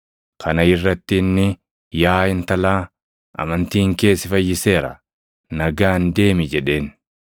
Kana irratti inni, “Yaa intalaa, amantiin kee si fayyiseera. Nagaan deemi” jedheen.